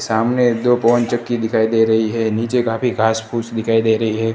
सामने दो पवन चक्की दिखाई दे रही है नीचे काफी घास फूस दिखाई दे रही है।